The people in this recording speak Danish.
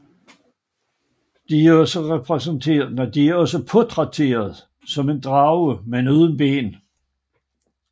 De er også portrætteret som en drage men uden ben